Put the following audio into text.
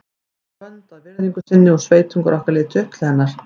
Hún var vönd að virðingu sinni og sveitungar okkar litu upp til hennar.